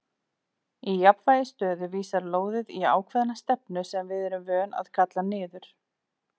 Í jafnvægisstöðu vísar lóðið í ákveðna stefnu sem við erum vön að kalla niður.